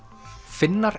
Finnar